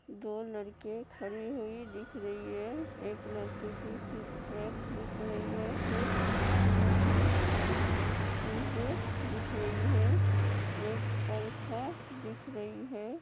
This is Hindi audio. दो लड़के खड़ी हुई दिख रही है। एक लड़के की सिक्स पैक दिख रही है। कुछ जिम की चीज़ें दिख रही हैं। एक पंखा दिख रही है।